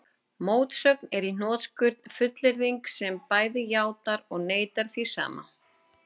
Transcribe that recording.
Mótsögn er í hnotskurn fullyrðing sem bæði játar og neitar því sama.